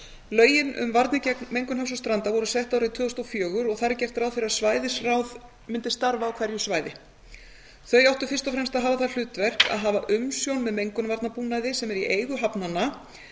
lögin um varnir gegn mengun hafs og stranda voru sett árið tvö þúsund og fjögur og þar gert ráð fyrir að svæðisráð mundu starfa á hverju svæði þau áttu fyrst og fremst að hafa það hlutverk að hafa umsjón með mengunarvarnabúnaði sem er í eigu hafnanna